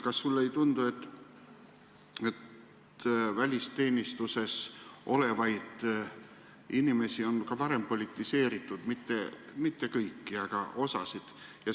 Kas sulle ei tundu, et välisteenistuses olevaid inimesi on ka varem politiseeritud – mitte kõiki, aga osa neist?